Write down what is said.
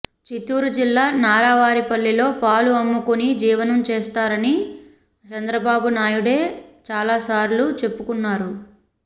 చిత్తూరు జిల్లా నారావారిపల్లెలో పాలు అమ్ముకొని జీవనం చేస్తారని చంద్రబాబు నాయుడే చాలాసార్లు చెప్పుకున్నారు